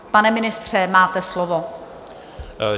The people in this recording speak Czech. Pane ministře, máte slovo.